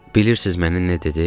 Bilirsiniz mənə nə dedi?